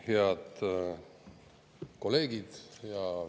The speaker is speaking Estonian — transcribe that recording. Head kolleegid!